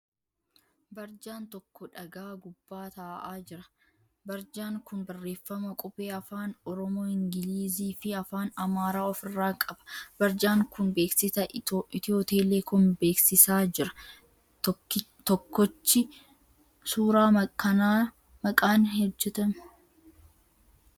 Barjaan tokko dhagaa gubbaa ta'aa jira. Barjaan kun barreema qubee afaan Oromoo, Ingilizii fi afaan Amaaraa ofi irraa qaba. Barjaan kun beeksisa 'ethio telecom' beeksisaa jira. Tokkochii suuraa kanaa meeqaan hojjetama?